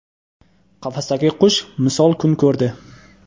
Qafasdagi qush misol kun ko‘rdi.